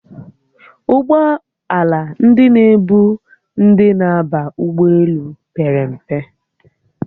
Ụgbọala ndị na-ebu ndi na-aba ụgbọelu pere mpe